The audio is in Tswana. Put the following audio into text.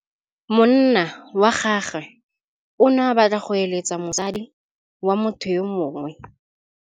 Monna wa gagwe o ne a batla go êlêtsa le mosadi wa motho yo mongwe.